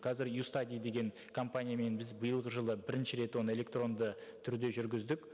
қазір ю стади деген компаниямен біз биылғы жылы бірінші рет оны электронды түрде жүргіздік